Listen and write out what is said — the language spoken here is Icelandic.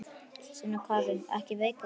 Sunna Karen: Ekki veikar?